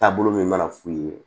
Taabolo min mana f'u ye